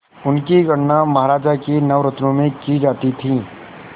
उनकी गणना महाराज के नवरत्नों में की जाती थी